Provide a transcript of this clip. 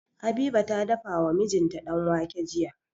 Habiba ta dafa wa mijinta danwake jiya.